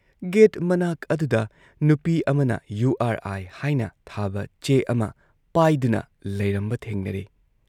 Get ꯃꯅꯥꯛ ꯑꯗꯨꯗ ꯅꯨꯄꯤ ꯑꯃꯅ ꯌꯨ ꯑꯥꯔ ꯑꯥꯏ ꯍꯥꯏꯅ ꯊꯥꯕ ꯆꯦ ꯑꯃ ꯄꯥꯏꯗꯨꯅ ꯂꯩꯔꯝꯕ ꯊꯦꯡꯅꯔꯦ ꯫